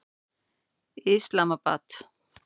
Islamabad